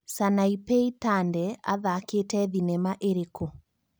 Sanapei Tande athakĩte thĩnema ĩrĩkũ